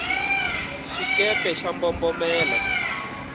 xikepe xa mbombomela